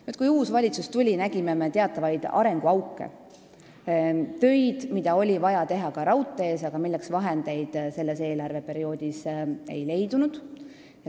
Nüüd, kui uus valitsus ametisse asus, siis me nägime teatavaid arenguauke: töid, mida oli vaja teha ka raudteel, aga milleks selle eelarveperioodi jooksul raha ei leidunud.